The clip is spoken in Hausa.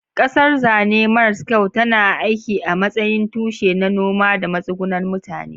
Ƙasar, zane maras kyau, tana aiki a matsayin tushe na noma da matsugunan mutane.